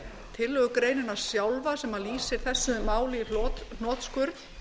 tillögugreinin sjálfa sem lýsir þessu máli í hnotskurn